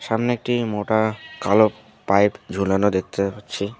সামনে একটি মোটা কালো পাইপ ঝোলানো দেখতে পাচ্ছি।